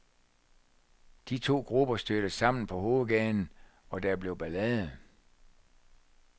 De to grupper stødte sammen på hovedgaden, og der blev ballade.